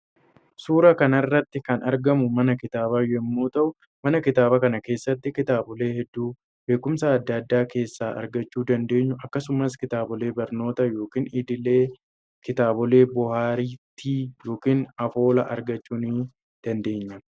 Suuraa kanarratti kan argamu mana kitaaba yommuu ta'u mana kitaaba kana keessatti kitaabilee hedduu beekumsa adda addaa kessa argachuu dandeenyu akkasumas kitaabilee barnoota yookan idilee, kitaabilee bohartii yookaan afoola argachuu nii dandeenya.